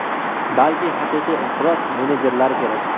balki haqiqiy inqiroz menejerlari kerak.